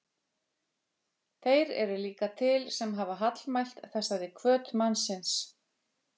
Þeir eru líka til, sem hafa hallmælt þessari hvöt mannsins.